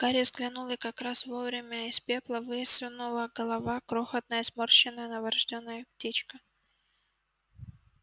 гарри взглянул и как раз вовремя из пепла высунула голова крохотная сморщенная новорождённая птичка